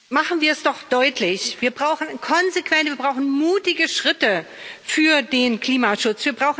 Machen wir es doch deutlich Wir brauchen konsequente, mutige Schritte für den Klimaschutz.